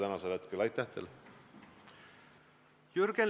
Jürgen Ligi, palun!